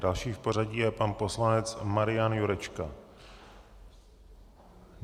Další v pořadí je pan poslanec Marian Jurečka.